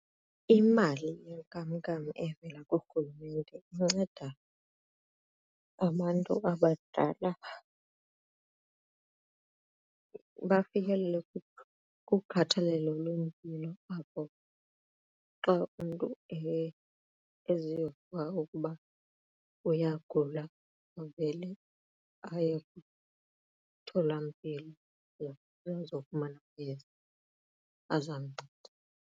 Imali yenkamnkam evela kuRhulumente inceda abantu abadala bafikelele kukhathalelo lwempilo apho xa umntu eziva ukuba uyagula avele aye emtholampilo ukuze afumane amayeza azamnceda.